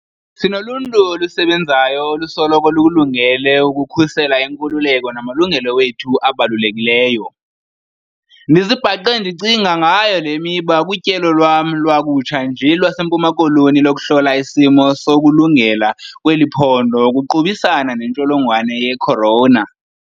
Sinoluntu olusebenzayo olusoloko lukulungele ukukhusela iinkululeko namalungelo wethu abalulekileyo. Ndizibhaqe ndicinga ngayo le miba kutyelo lwam lwakutsha nje lwaseMpuma Koloni lokuhlola isimo sokulungela kweli phondo ukuqubisana nentsholongwane ye-corona.